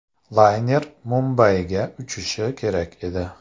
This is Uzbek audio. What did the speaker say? Layner Mumbayga uchishi kerak edi.